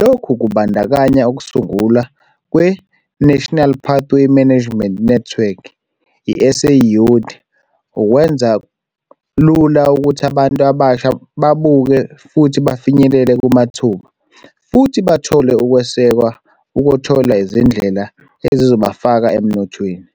Lokhu kubandakanya ukusungulwa kwe-National Pathway Management Network, i-SA Youth, ukwenza lula ukuthi abantu abasha babuke futhi bafinyelele kumathuba futhi bathole ukwesekwa ukuthola izindlela ezizobafaka emnothweni.